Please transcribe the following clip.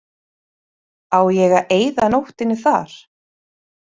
Á ég að eyða nóttinni þar?